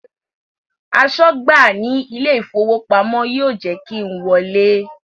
Aṣọ́gbà ní ilé ìfowópamọ́ yóò jẹ́ kí n wọlé